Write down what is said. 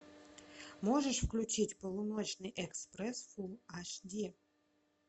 можешь включить полуночный экспресс эйч ди